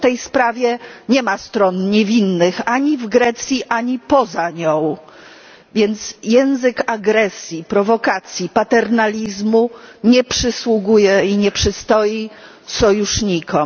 W tej sprawie nie ma stron niewinnych, ani w Grecji, ani poza nią, więc język agresji, prowokacji, paternalizmu nie przysługuje i nie przystoi sojusznikom.